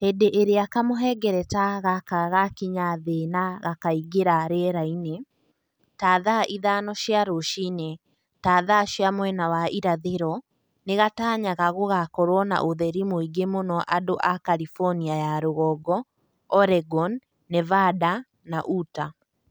Hĩndĩ ĩrĩa kamũhengereta gaka gakinya Thĩ na gakĩingĩra rĩera-inĩ, ta thaa ithano cia rũcinĩ (ta thaa cia mwena wa irathĩro), nĩ gatanyaga gũgakorũo na ũtheri mũingĩ mũno andũ a California ya Rũgongo, Oregon, Nevada, na Utah.